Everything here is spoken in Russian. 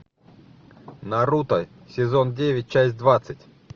наруто сезон девять часть двадцать